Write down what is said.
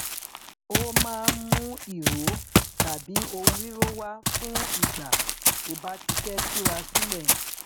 ó maá n mú ìró tàbí ohun ríró wá fún ìgbà tó bá ti fẹ túra sílẹ